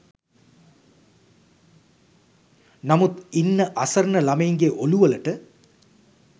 නමුත් ඉන්න අසරණ ළමයින්ගේ ඹළුවලට